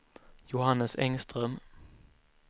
Johannes Engström